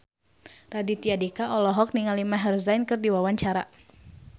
Raditya Dika olohok ningali Maher Zein keur diwawancara